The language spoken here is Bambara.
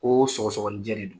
Koo sɔgɔsɔɔnijɛ de don